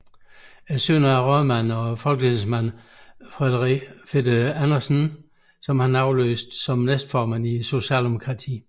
Søn af rådmand og folketingsmand Frederik Andersen som han afløste som næstformand i Socialdemokratiet